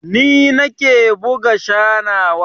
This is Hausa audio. Ni nake buga sanarwa jami'ar mu